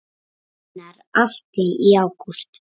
Gunnar Atli: Í ágúst?